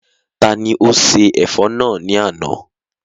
Tani ó se ẹ̀fọ́ náà ní àná?